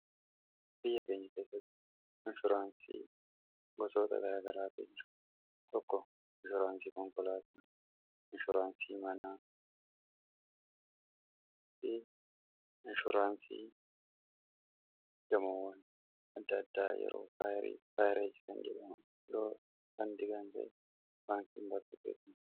biyya keenya keessatti inshuraansii gosoota gara garaati jira tokko inshuraansii konkolaata hi manaa fi inshuraansii gamowwan adda addaa yeroo faayireesi kan jedhan doo kandi gaanje'e baankiin bartubeeta